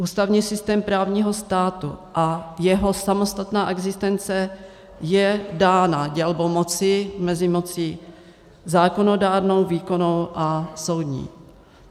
Ústavní systém právního státu a jeho samostatná existence je dána dělbou moci mezi mocí zákonodárnou, výkonnou a soudní.